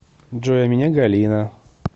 джой а меня галина